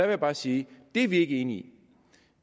jeg bare sige det er vi ikke enige i